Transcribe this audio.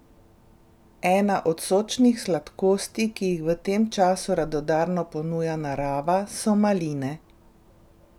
Ena od sočnih sladkosti, ki jih v tem času radodarno ponuja narava, so maline.